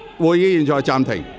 會議現在暫停。